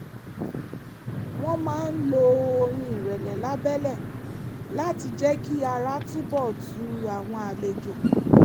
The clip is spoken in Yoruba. wọ́n máa ń lo orin ìrẹ̀lẹ̀ lábẹ́lẹ̀ láti jẹ́ kí ara túnbọ̀ tu àwọn àlejò